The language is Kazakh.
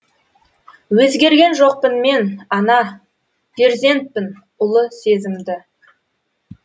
өзгерген жоқпын мен ана перзентпін ұлы сезімді